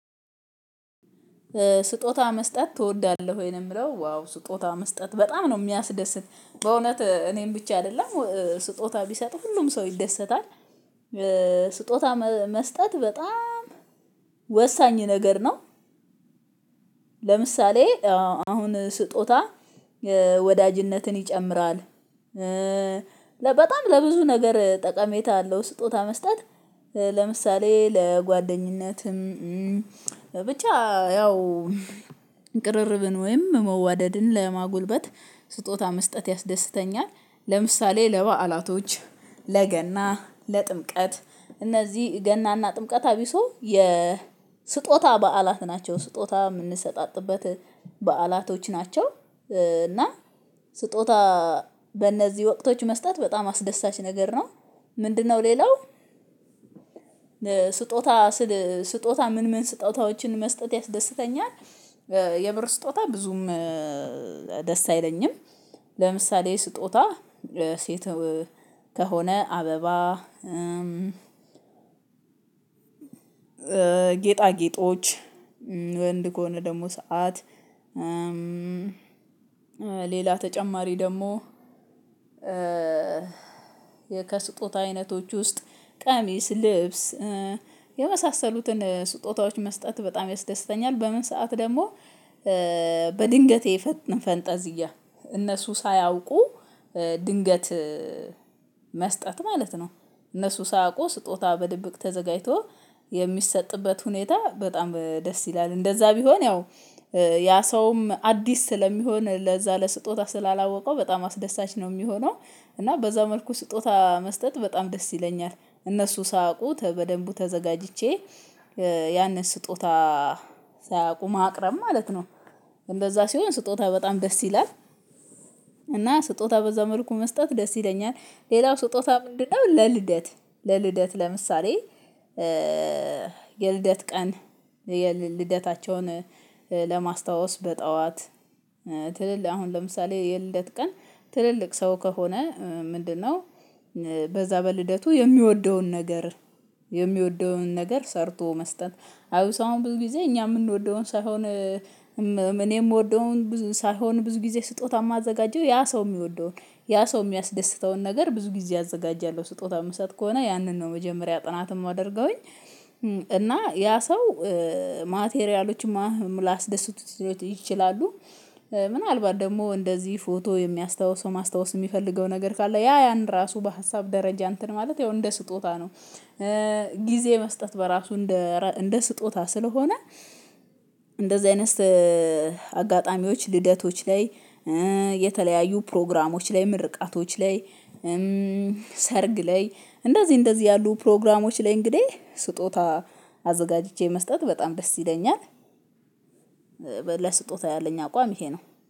ስጦታ መስጠት ትወዳለህ ወይ ነው? የምለው ዋው ስጦታ መስጠት በጣም ነው የሚያስደስት በእውነት እኔም ብቻ አይደለም ስጦታ ቢሰጥ ሁሉም ሰው ይደሰታል። ስጦታ መስጠት በጣም ወሳኝ ነገር ነው። ለምሳሌ አሁን ስጦታ ወዳጅነትን ይጨምራል። ለበጣም ለብዙ ነገር ጠቃሚታ አለው ስጦታ መስጠት ለምሳሌ ለጓደኝነትም ብቻ ያው ቅርርብን ወይም መዋደድን ለማጎልበት ስጦታ መስጠት ያስደስተኛል። ለምሳሌ ለበዓላቶች ለገና ለጥምቀት እነዚህ ገናና ጥምቀት አብሶ የ ስጦታ በዓላት ናቸው ስጦታ የምንሰጣጥበት በዓላቶች ናቸው። እና ስጦታ በእነዚህ ወቅቶች መስጠት በጣም አስደሳች ነገር ነው። ምንድነው? ሌላው ስጦታ ስል ስጦታ ምን ምን ስጦታዎችን መስጠት ያስደስተኛል። የብር ስጦታ ብዙም ደስ አይለኝም። ለምሳሌ ስጦታ ሴት ከሆነ አበባ ጌጣጌጦች ወንድ ከሆነ ደግሞ ሰዓት። ሌላ ተጨማሪ ደግሞ ከስጦታ አይነቶች ውስጥ ቀሚስ ልብስ የመሳሰሉትን ስጦታዎች መስጠት በጣም ያስደስተኛል። በምን ሰዓት ደግሞ በድንገቴ ፈንጠዝያ እነሱ ሳያውቁ ድንገት መስጠት ማለት ነው። እነሱ ሳያውቁ ስጦታ በድብቅ ተዘጋጅቶ የሚሰጥበት ሁኔታ በጣም ደስ ይላል። እንደዛ ቢሆን ያው ያ ሰውም አዲስ ስለሚሆን ለዛ ለስጦታ ስላላወቀው በጣም አስደሳች ነው የሚሆነው። እና በዛ መልኩ ስጦታ መስጠት በጣም ደስ ይለኛል። እነሱ ሳያውቁ በደንቡ ተዘጋጅቼ ያንን ስጦታ ሳያውቁ ማቅረብ ማለት ነው። እንደዛ ሲሆን ስጦታ በጣም ደስ ይላል። እና ስጦታ በዛ መልኩ መስጠት ደስ ይለኛል። ሌላው ስጦታ ምንድነው? ለልደት ለልደት ለምሳሌ የልደት ቀን የልደታቸውን ለማስታወስ በጠዋት ትልልቅ አሁን ለምሳሌ የልደት ቀን ትልልቅ ሰው ከሆነ ምንድነው በዛ በልደቱ የሚወደውን ነገር የሚወደውን ነገር ሰርቶ መስጠት። አሁን ሰው ብዙ ጊዜ እኛ የምንወደውን ሳይሆን እኔም የምወደውን ብዙ ሳይሆን ብዙ ጊዜ ስጦታ የማዘጋጀው ያ ሰው የሚወደውን ያ ሰው የሚያስደስተውን ነገር ብዙ ጊዜ አዘጋጃለሁ ስጦታ የምሰጥ ከሆነ ያንን ነው መጀመሪያ ጥናት የማደርገውኝ እና ያ ሰው ማቴሪያሎችን ላያስደስቱት ይችላሉ። ምናልባት ደግሞ እንደዚህ ፎቶ የሚያስታውሰው ማስታወስ የሚፈልገው ነገር ካለ ያ ያን ራሱ በሀሳብ ደረጃ እንትን ማለት ያው እንደ ስጦታ ነው። ጊዜ መስጠት በራሱ እንደ እንደ ስጦታ ስለሆነ። እንደዚህ አይነት አጋጣሚዎች ልደቶች ላይ የተለያዩ ፕሮግራሞች ላይ ምርቃቶች ላይ ሰርግ ላይ እንደዚህ እንደዚህ ያሉ ፕሮግራሞች ላይ እንግዲህ ስጦታ አዘጋጅቼ መስጠት በጣም ደስ ይለኛል። ለስጦታ ያለኝ አቋም ይሄ ነው